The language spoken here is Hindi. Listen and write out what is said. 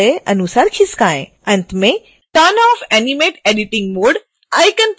अंत में turn off animate editing mode icon पर क्लिक करें